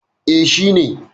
E, shi ne.